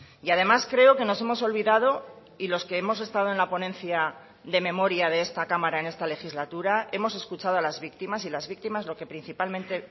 y además creo que nos hemos olvidado y los que hemos estado en la ponencia de memoria de esta cámara en esta legislatura hemos escuchado a las víctimas y las víctimas lo que principalmente